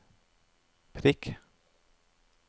prikk